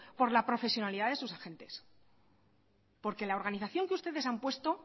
por la profesionalidad de sus agentes porque la organización que ustedes han puesto